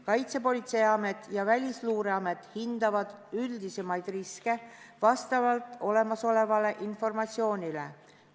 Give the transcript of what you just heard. Kaitsepolitseiamet ja Välisluureamet hindavad üldisemaid riske vastavalt olemasolevale informatsioonile.